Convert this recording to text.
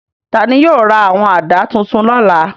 Ta ni yóò ra àwọn àdá tuntun lọ́la?